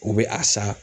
U bɛ a san